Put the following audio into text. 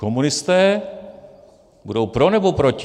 Komunisté budou pro, nebo proti?